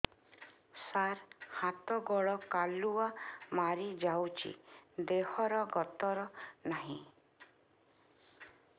ସାର ହାତ ଗୋଡ଼ କାଲୁଆ ମାରି ଯାଉଛି ଦେହର ଗତର ନାହିଁ